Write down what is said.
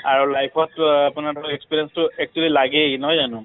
আৰু life ত অ আপোনাৰ ধৰক experience টো এইটো লাগেই নহয় জানো?